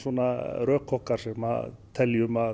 rök okkar sem teljum að